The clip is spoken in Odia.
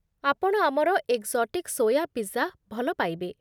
ଆପଣ ଆମର ଏକ୍ସୋଟିକ୍ ସୋୟା ପିଜ୍ଜା ଭଲ ପାଇବେ।